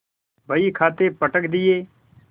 बहीखाते पटक दिये